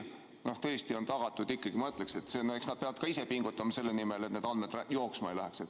Ikkagi ma ütleksin, et eks nad peavad ka ise pingutama selle nimel, et need andmed jooksma ei läheks.